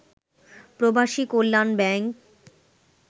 প্রবাসী কল্যাণ ব্যাংক